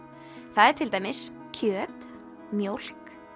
það er til dæmis kjöt mjólk